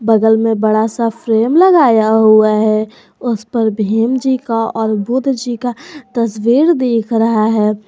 बगल में बड़ा सा फ्रेम लगाया हुआ है उस पर भीम जी का और बुद्ध जी का तस्वीर दिख रहा है।